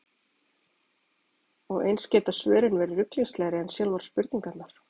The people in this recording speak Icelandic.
Og eins geta svörin verið ruglingslegri en sjálfar spurningarnar.